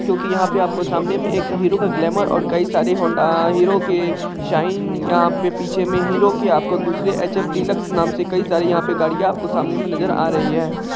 क्योंकी यहाँ पे आपके सामने मे एक हीरो का ग्लैमर और कई सारे होंडा अ हीरो के साइन यहाँ पे पीछे में हीरो के आपको दूसरी एच_एफ_डीलक्स नाम की कई सारी यहाँ पे गाड़ियाँ आपके सामने मे नजर आ रही हैं।